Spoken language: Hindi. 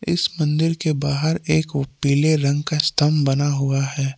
इस मंदिर के बाहर एक वो पीले रंग का स्तंभ बना हुआ है।